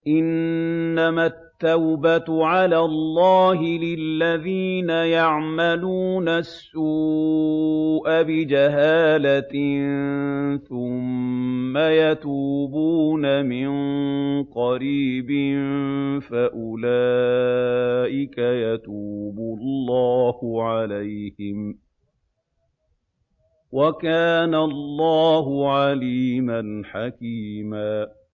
إِنَّمَا التَّوْبَةُ عَلَى اللَّهِ لِلَّذِينَ يَعْمَلُونَ السُّوءَ بِجَهَالَةٍ ثُمَّ يَتُوبُونَ مِن قَرِيبٍ فَأُولَٰئِكَ يَتُوبُ اللَّهُ عَلَيْهِمْ ۗ وَكَانَ اللَّهُ عَلِيمًا حَكِيمًا